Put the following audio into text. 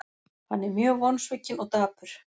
Hann er mjög vonsvikinn og dapur.